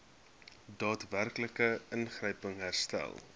daadwerklike ingryping herstel